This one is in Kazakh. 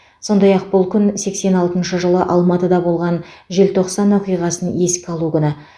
сондай ақ бұл күн сексен алтыншы жылы алматыда болған желтоқсан оқиғасын еске алу күні